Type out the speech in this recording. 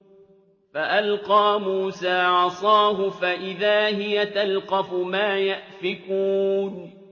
فَأَلْقَىٰ مُوسَىٰ عَصَاهُ فَإِذَا هِيَ تَلْقَفُ مَا يَأْفِكُونَ